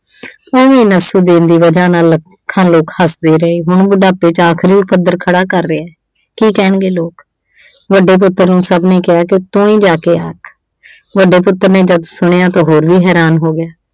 ਉਂਜ ਵੀ ਨਸੂਦੀਨ ਦੀ ਵਜ੍ਹਾ ਨਾਲ ਅਹ ਲੋਕ ਹੱਸਦੇ ਰਹੇ, ਹੁਣ ਬੁਢਾਪੇ ਚ ਆਖਰੀ ਖੜ੍ਹਾ ਕਰ ਰਿਹਾ, ਕੀ ਕਹਿਣਗੇ ਲੋਕ। ਵੱਡੇ ਪੁੱਤਰ ਨੂੰ ਸਭ ਨੇ ਕਿਹਾ ਕਿ ਤੂੰ ਹੀ ਜਾ ਕੇ ਆਖ। ਵੱਡੇ ਪੁੱਤਰ ਨੇ ਜਦ ਸੁਣਿਆ ਤਾਂ ਹੋਰ ਵੀ ਹੈਰਾਨ ਹੋ ਗਿਆ।